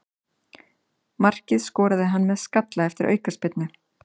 Markið skoraði hann með skalla eftir aukaspyrnu.